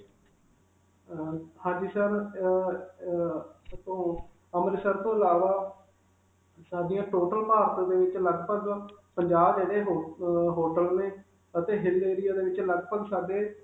ਅਅ ਹਾਂਜੀ sir, ਅਅ ਅਅ ਇਥੋਂ ਅੰਮ੍ਰਿਤਸਰ ਤੋਂ ਅਲਾਵਾ, ਸਾਡੀਆਂ total ਭਾਰਤ ਦੇ ਵਿਚ ਲਗ-ਭਗ ਪੰਜਾਹ ਇਹਦੇ ਹਹ ਅਅ hotel ਨੇ ਅਤੇ hill area ਦੇ ਵਿਚ ਲਗ-ਭਗ ਸਾਡੇ.